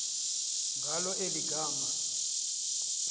ngalo eli gama